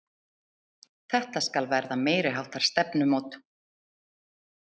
Þetta skal verða meiriháttar stefnumót!